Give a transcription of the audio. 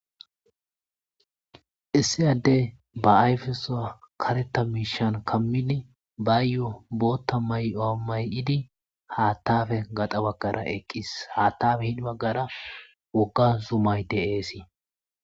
Issi adde ba ayfesuwa kareththa miishshan kammidi baayo booththa mayi'o may'idi haaththappe gaxxa bagara eqqis. Haaththappe hin baggara wogga zummay de'eesi.